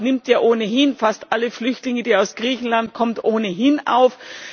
Deutschland nimmt ja ohnehin fast alle Flüchtlinge, die aus Griechenland kommen, auf.